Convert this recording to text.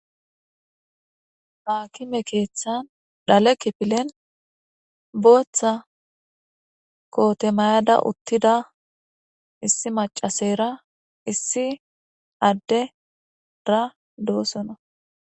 haakime keeththan dhale kipilen booththa kootemayada uttida issi macaseyra issi adde-ra doossona